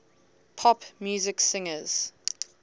pop music singers